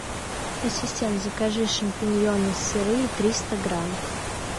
ассистент закажи шампиньоны сырые триста грамм